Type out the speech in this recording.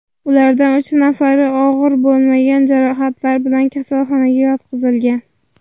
Ulardan uch nafari og‘ir bo‘lmagan jarohatlar bilan kasalxonaga yotqizilgan.